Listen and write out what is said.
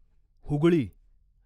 Hooghly